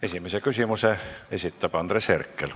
Esimese küsimuse esitab Andres Herkel.